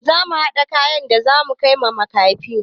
Zamu haɗa kayan da zamu kaiwa makafi.